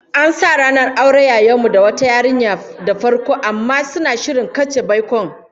An sa ranar auren yayan mu da wata yarinya da farko, amma suna shirin katse baikon